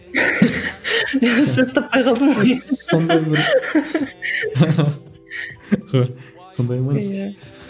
сөз таппай қалдым ғой сондай бір сондай ма иә